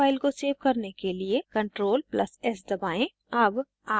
अपनी svg file को svg करने के लिए ctrl + s दबाएं